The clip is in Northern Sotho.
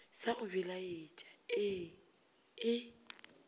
sa go belaetša ee e